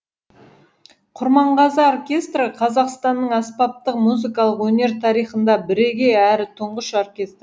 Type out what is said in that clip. құрманғазы оркестрі қазақстанның аспаптық музыкалық өнер тарихында бірегей әрі тұңғыш оркестр